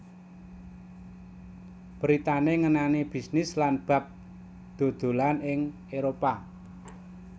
Beritané ngenani bisnis lan bab dodolan ing Éropah